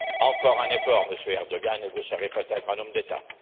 Encore un effort, Monsieur Erdoğan, et vous serez peut être un homme d'État.